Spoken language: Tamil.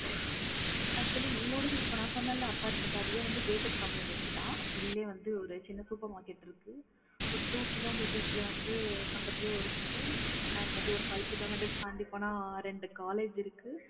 Actually என்னோடது இப்ப நான் சொன்னேன்ல apartment அதுவே வந்து gate க்கு community தான் உள்ளே வந்து ஒரு சின்ன supermarket இருக்கு ஒரு two கிலோமீட்டர்ஸ் ல வந்து பக்கத்துலேயே ஒரு ஸ்கூல் and வந்து ஒரு five கிலோமீட்டர் தாண்டி போன ரெண்டு காலேஜ் இருக்கு